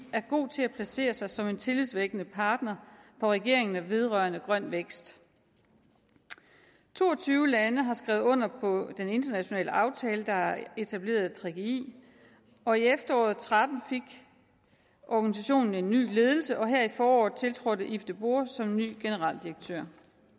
er god til at placere sig som en tillidsvækkende partner for regeringer vedrørende grøn vækst to og tyve lande har skrevet under på den internationale aftale der etablerede gggi og i efteråret og tretten fik organisationen en ny ledelse og her i foråret tiltrådte yvo de boer som ny generaldirektør